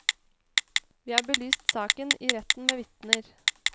Vi har belyst saken i retten med vitner.